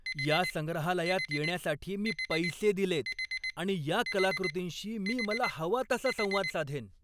या संग्रहालयात येण्यासाठी मी पैसे दिलेत आणि या कलाकृतींशी मी मला हवा तसा संवाद साधेन!